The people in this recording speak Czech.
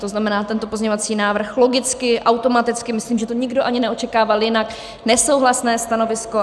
To znamená, tento pozměňovací návrh logicky, automaticky, myslím, že to nikdo ani neočekával jinak, nesouhlasné stanovisko.